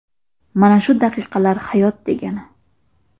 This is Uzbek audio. Mana shu daqiqalar hayot degani!